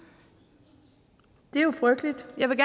det er jo frygteligt jeg vil